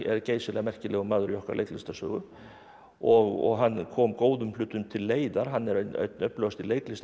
geysilega merkilegur maður í okkar leiklistarsögu og hann kom góðum hlutum til leiðar hann er einn öflugasti